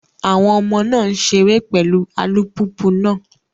Àwọn ọmọ náà ń ṣeré pẹ̀lú alùpùpù náà.